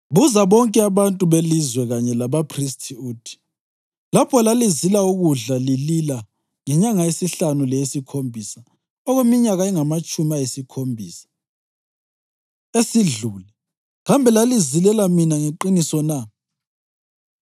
“Buza bonke abantu belizwe kanye labaphristi uthi, ‘Lapho lalizila ukudla lilila ngenyanga yesihlanu leyesikhombisa okweminyaka engamatshumi ayisikhombisa esidlule kambe lalizilela mina ngeqiniso na?